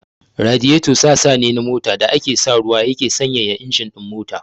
Radiyeto sassa ne na mota da ake sa ruwa yake sanyaya injin ɗin mota.